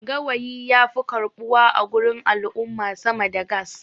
gawayi ya fi karɓuwa a gurin al'umma sama da gas